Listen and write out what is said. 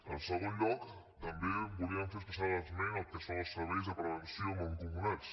en segon lloc també volíem fer especial esment al que són els serveis de prevenció mancomunats